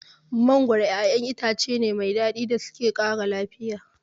Mangoro ƴaƴan itace ne mai daɗi da suke ƙara lafiya.